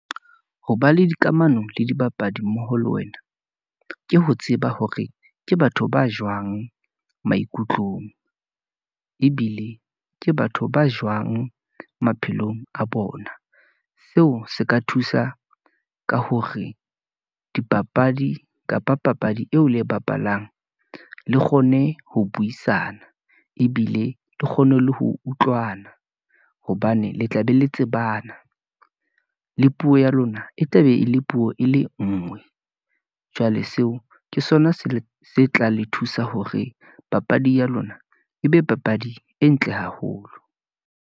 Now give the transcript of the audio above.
Ho ba le dikamano le dibapadi mmoho le wena, ke ho tseba hore ke batho ba jwang maikutlong , ebile ke batho ba jwang maphelong a bona. Seo se ka thusa ka hore dipapadi kapa papadi eo le e bapalang, le kgone ho buisana, ebile le kgone le ho utlwana, hobane le tla be le tsebana , le puo ya lona e tla be e le puo e le ngwe. Jwale seo ke sona se tla le thusa hore papadi ya lona, e be papadi e ntle haholo.